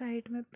side में --